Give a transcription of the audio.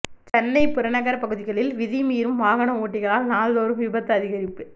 சென்னை புறநகர் பகுதிகளில் விதி மீறும் வாகன ஓட்டிகளால் நாள்தோறும் விபத்து அதிகரிப்பு